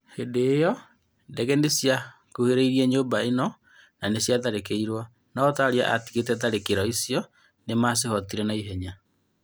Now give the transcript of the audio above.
Hĩndĩ ĩyo ndege nĩ cia kũhĩrĩirie nyũmba ĩyo na nĩ ciatharĩkĩirwo. No Taria atigĩte tharĩkĩro icio nĩ macihootire naihenya.